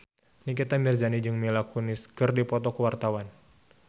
Nikita Mirzani jeung Mila Kunis keur dipoto ku wartawan